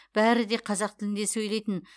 бәрі де қазақ тілінде сөйлейтін